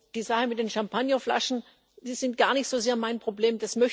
Die Sache mit den Champagnerflaschen, die ich gar nicht so sehr mein Problem.